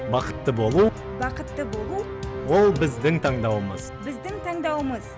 бақытты болу бақытты болу ол біздің таңдауымыз біздің таңдауымыз